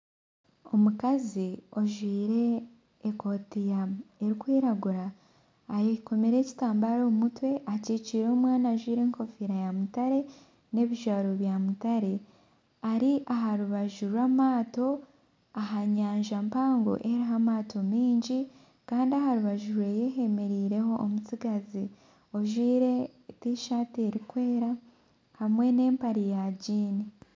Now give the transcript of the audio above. Omukazi ojwire ekooti erikwiragura ayekomire ekitambare omu mutwe akikire omwana ajwire enkofira ya mutare n'ebijwaro bya mutare ari aha rubaju rw'amaato aha nyanja mpango eriho amaato maingi kandi aha rubaju rwe hemereireho omutsigazi ojwire tishati erikwera hamwe n'empare ya giini.